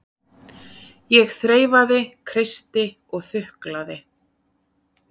Ég þreifaði, kreisti og þuklaði.